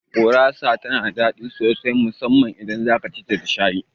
Gurasa tana da daɗi sosai musamman idan zaka cita da shayi